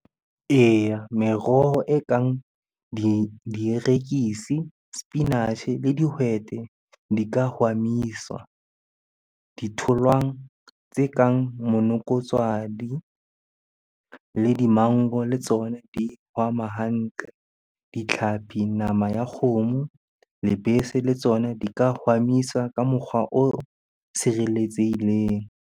Eya, meroho e kang dierekisi, sepinatjhe le dihwete di ka hwamiswa. Ditholwang tse kang monokotshwadi le di-mango le tsona di hwama hantle. Ditlhapi, nama ya kgomo, lebese le tsona di ka hwamiswa ka mokgwa o sireletsehileng.